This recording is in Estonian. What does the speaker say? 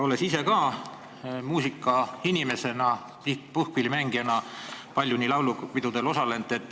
Olen ise ka muusikainimesena, puhkpillimängijana palju laulupidudel osalend.